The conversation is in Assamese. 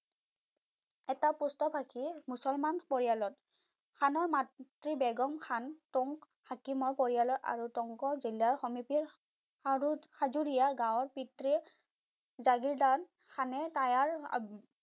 এটা পুষ্টকাশীৰ মুছলমান পৰিয়ালত খানৰ মাতৃ বেগম খান টোং হাকিমৰ পৰিয়ালৰ আৰু টোংক জিলাৰ আৰু হাজোৰীয়া গাঁৱৰ পিতৃয়ে জাগিৰদান খানে টায়াৰ